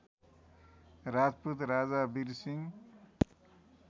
राजपूत राजा वीरसिंह